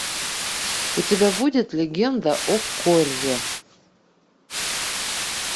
у тебя будет легенда о корре